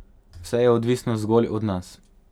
Vse je odvisno zgolj od nas.